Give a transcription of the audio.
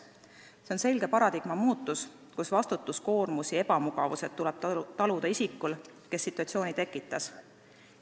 See on selge paradigma muutus: vastutuskoormus ja ebamugavused tuleb taluda isikul, kes situatsiooni tekitas.